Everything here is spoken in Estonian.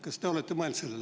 Kas te sellele olete mõelnud?